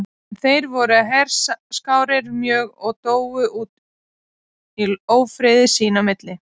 En þeir voru herskáir mjög og dóu út í ófriði sín á milli.